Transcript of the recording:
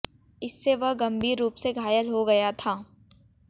इससे वह गंभीर रूप से घायल हो गया था